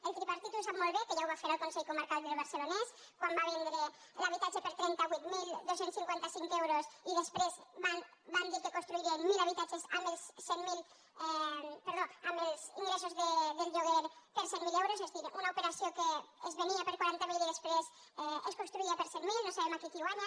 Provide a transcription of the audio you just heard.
el tripartit ho sap molt bé que ja ho va fer al consell comarcal del barcelonès quan va vendre l’habitatge per trenta vuit mil dos cents i cinquanta cinc euros i després van dir que construirien mil habi tatges amb els ingressos del lloguer per cent mil euros és a dir una operació que es venia per quaranta mil i després es construïa per cent mil no sabem aquí qui hi guanya